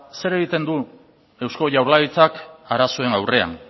zer egiten duen eusko jaurlaritza arazoen aurrean